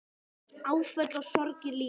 Áföll og sorgir líka.